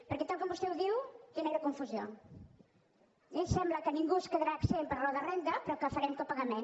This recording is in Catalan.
perquè tal com vostè ho diu genera confusió eh sembla que ningú en quedarà exempt per raó de renda però que farem copagament